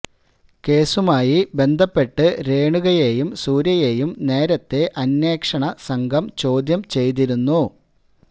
കേസുമായി ബന്ധപ്പെട്ട് രേണുകയെയും സൂര്യയെയും നേരത്തെ അന്വേഷണ സംഘം ചോദ്യം ചെയ്തിരുന്നു